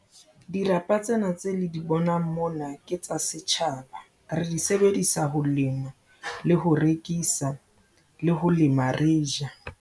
Dirapa tsena tseo le di bonang mona ke tsa setjhaba. Re di sebedisa ho lema le ho rekisa le ho lema re je.